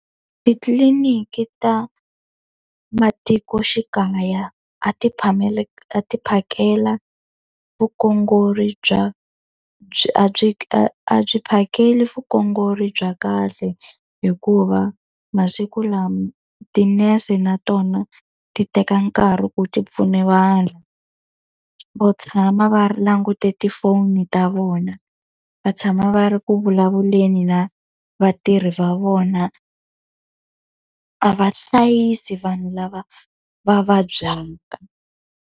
Titliliniki ta matikoxikaya a ti a ti phakela bya a byi phakeli bya kahle, hikuva masiku lama tinese na tona ti teka nkarhi ku ti pfuna. Va tshama va ri langute tifoni ta vona, va tshama va ri ku vulavuleni na vatirhi va vona, a va hlayisi vanhu lava va vabyaka.